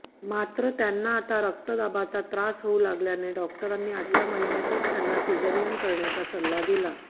मात्र त्यांना आता रक्तदाबाचा त्रास होऊ लागल्याने डॉक्टरांनी आठव्या महिन्यांतच त्यांना सिजेरियन करण्याचा सल्ला दिला